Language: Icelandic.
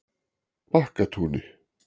Bakkatúni